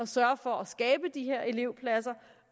sørge for at skabe de her elevpladser